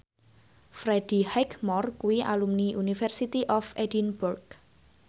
Freddie Highmore kuwi alumni University of Edinburgh